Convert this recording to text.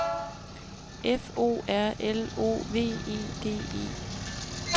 F O R L O V E D E